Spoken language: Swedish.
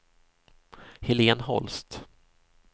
Helen Holst